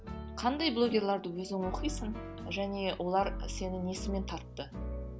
қандай блогерларды өзің оқисың және олар сені несімен тартты